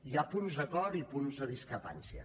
hi ha punts d’acord i punts de discrepància